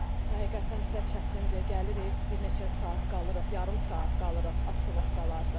Yəni həqiqətən bizə çətindir, gəlirik bir neçə saat qalırıq, yarım saat qalırıq asstnovkalarda.